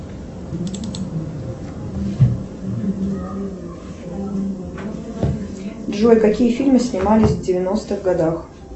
джой какие фильмы снимались в девяностых годах